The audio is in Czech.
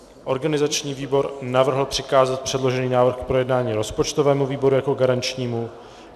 Organizační výbor navrhl přikázat předložený návrh k projednání rozpočtovému výboru jako garančnímu.